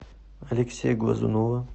алексея глазунова